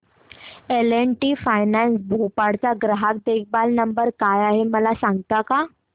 L and T finance Bhopal चा ग्राहक देखभाल नंबर काय आहे मला सांगता का